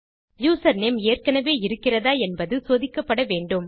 username ஏற்கெனெவே இருக்கிறதா என்பது சோதிக்கப்பட வேண்டும்